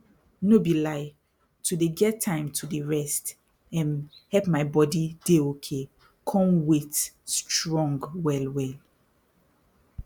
no be lie to dey get time to dey rest erm help my body dey okay con wait strong well well